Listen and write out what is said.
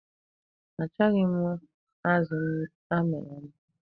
Achọghị m azụ a miri amị.